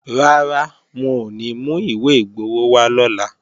Rárá, wọn ò ní mú ìwé igbowó wá lọ́la